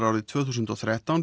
árið tvö þúsund og þrettán